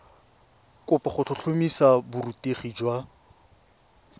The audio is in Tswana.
kopo go tlhotlhomisa borutegi jwa